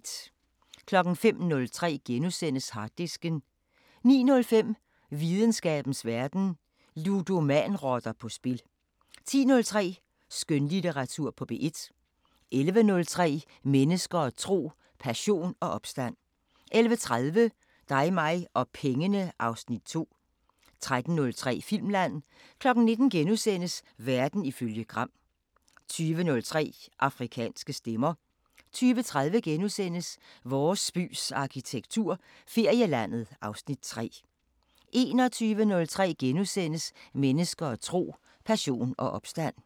05:03: Harddisken * 09:05: Videnskabens Verden: Ludomanrotter på spil 10:03: Skønlitteratur på P1 11:03: Mennesker og tro: Passion og opstand 11:30: Dig mig og pengene (Afs. 2) 13:03: Filmland 19:00: Verden ifølge Gram * 20:03: Afrikanske Stemmer 20:30: Vores bys arkitektur – Ferielandet (Afs. 3)* 21:03: Mennesker og tro: Passion og opstand *